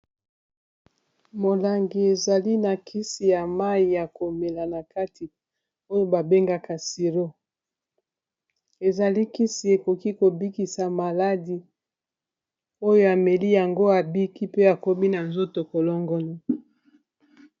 Molangi ezali na kisi ya mayi ya komela na kati oyo babengaka siro ezali kisi ekoki kobikisa maladi oyo ameli yango abiki pe akomi na nzoto kolongono